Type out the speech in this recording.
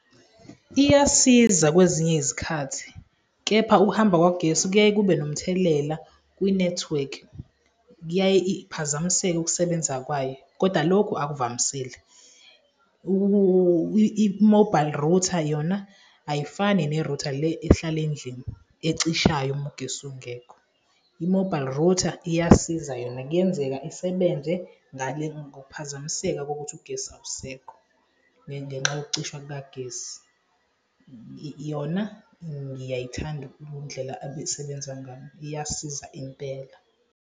Iyasiza kwezinye izikhathi kepha ukuhamba kwagesi kuyaye kube nomthelela kwinethiwekhi, kuyaye iphazamiseke ukusebenza kwayo koda loku akuvamisile. I-mobile router yona ayifani nerutha le ehlala endlini ecishayo uma ugesi ungekho. I-mobile router iyasiza yona. Kuyenzeka isebenze ngale ngokuphazamiseka kokuthi ugesi awusekho ngenxa yokucisha kukagesi. Yona ngiyayithanda undlela abesebenza ngayo, iyasiza impela.